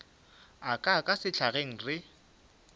a ka ka sehlageng re